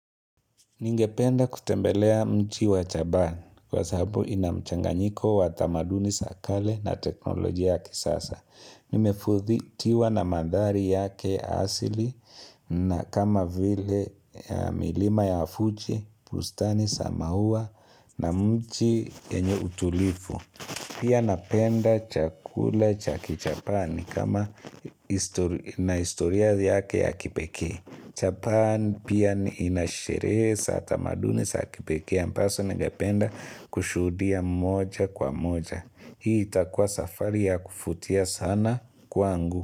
Ningependa kutembelea mji wa japani kwa sababu inamchanganyiko wa tamaduni za kale na teknolojia ya kisasa. Nimefutiwa na mandhari yake asili na kama vile milima ya fuji, bustani, za maua na mji yenye utulivu. Pia napenda chakula cha kijapani kama na historia yake ya kipekee. Japani pia inasherehe za tamaduni za kipekee ambazo ningependa kushuhudia moja kwa moja. Hii itakuwa safari ya kuvutia sana kwangu.